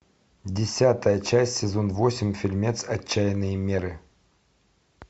десятая часть сезон восемь фильмец отчаянные меры